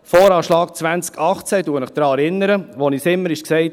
–Voranschlag 2018: Ich erinnere Sie daran, es wurde uns immer gesagt.